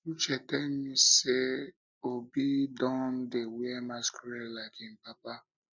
uche tell me say obi don say obi don dey wear masquerade like im papa